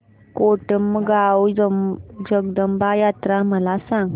कोटमगाव जगदंबा यात्रा मला सांग